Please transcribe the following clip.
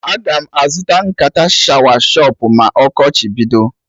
Aga m azụta nkata shawa shọpụ ma ọkọchị bido